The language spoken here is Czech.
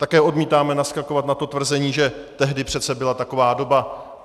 Také odmítáme naskakovat na to tvrzení, že tehdy přece byla taková doba.